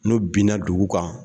N'o binna dugu kan